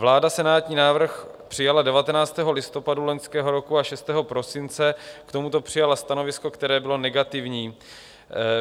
Vláda senátní návrh přijala 19. listopadu loňského roku a 6. prosince k tomuto přijala stanovisko, které bylo negativní.